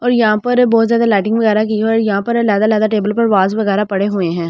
और यहां पर बहुत ज्यादा लाइटिंग वगैरा की है और वास वगैरा पड़े हुए है।